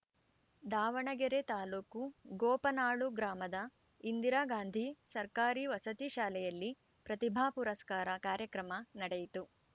ದಾವಣಗೆರೆ ತಾಲುಕು ಗೋಪನಾಳು ಗ್ರಾಮದ ಇಂದಿರಾಗಾಂಧಿ ಸರ್ಕಾರಿ ವಸತಿ ಶಾಲೆಯಲ್ಲಿ ಪ್ರತಿಭಾ ಪುರಸ್ಕಾರ ಕಾರ್ಯಕ್ರಮ ನಡೆಯಿತು